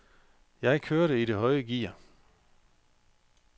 Jeg kørte i det høje gear.